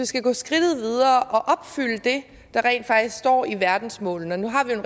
skal gå skridtet videre og opfylde det der rent faktisk står i verdensmålene og nu har vi jo